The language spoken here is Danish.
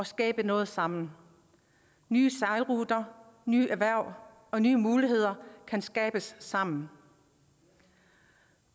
skabe noget sammen nye sejlruter nye erhverv og nye muligheder kan skabes sammen